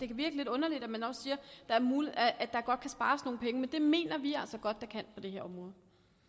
kan virke lidt underligt at man også siger at der godt kan spares nogle penge men det mener vi altså at det her område